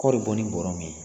Kɔɔri bɛ bɔ ni bɔrɛ min ye